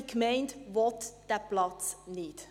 Diese Gemeinde will den Platz nicht.